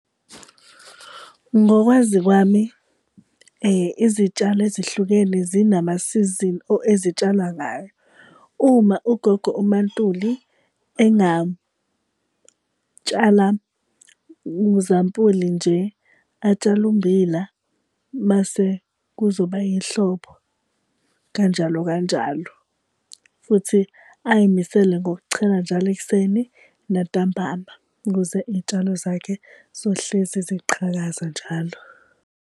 Ngokwazi kwami izitshalo ezihlukene zinama sizini ezitshalwa ngayo. Uma ugogo uMaNtuli engatshala, uzampuli nje, atshale ummbila, mase kuzoba ihlobo kanjalo kanjalo. Futhi ay'misele ngokuchela njalo ekuseni nantambama ukuze iy'tshalo zakhe zohlezi ziqhakaza njalo.